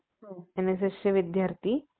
NSS चे विद्यार्थी